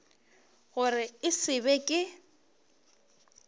gore e se be ke